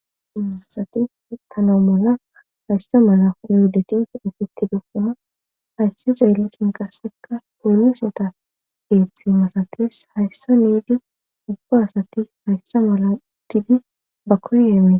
Dumma ast utana mala hayssa mala yuhudati isseti depkama hayssi xeellosin qasseka polloseta geeththi masakees hayssa niidi ubba asati hayssa mala didi ba koyemee